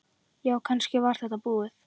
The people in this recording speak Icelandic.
Já, kannski var þetta búið.